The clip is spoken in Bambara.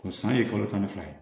O san ye kalo tan ni fila ye